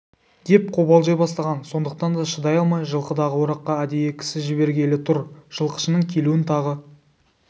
деп қобалжи бастаған сондықтан да шыдай алмай жылқыдағы ораққа әдейі кісі жібергелі тұр жылқышының келуін тағы